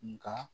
Nka